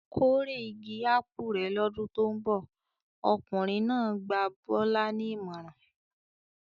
"Kórè igi ápù rẹ̀ lọ́dún tó ń bọ̀!" Ọkùnrin náà gba Bọ́lá ní ìmọ̀ràn.